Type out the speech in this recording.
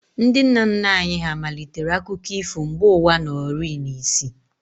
Ndị nna nna anyị hà malitere akụkọ ifo mgbe ụwa nọrịị n'isi